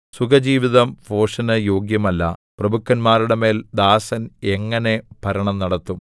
സുഖജീവിതം ഭോഷന് യോഗ്യമല്ല പ്രഭുക്കന്മാരുടെമേൽ ദാസൻ എങ്ങനെ ഭരണം നടത്തും